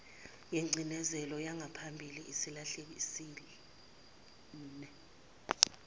yengcindezelo yangaphambili esilahlekisele